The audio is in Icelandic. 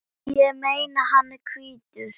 Ég meina, hann er hvítur!